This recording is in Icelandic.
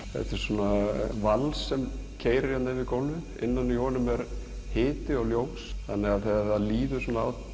þetta er vals sem keyrir yfir gólfið innan í honum er hiti og ljós þegar líður á